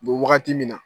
Be wagati min na